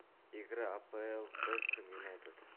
игра апл вест хэм юнайтед